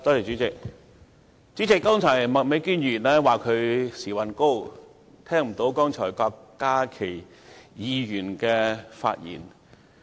主席，麥美娟議員說她時運高，聽不到郭家麒議員剛才的發言。